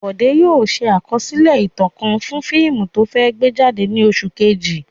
Bọ̀dé yóò ṣe àkọsílẹ̀ ìtàn kan fún fíìmù tó fẹ́ gbé jáde ní oṣù kejì.